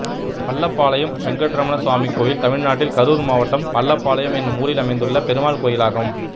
பள்ளபாளையம் வெங்கட்ரமண சுவாமி கோயில் தமிழ்நாட்டில் கரூர் மாவட்டம் பள்ளபாளையம் என்னும் ஊரில் அமைந்துள்ள பெருமாள் கோயிலாகும்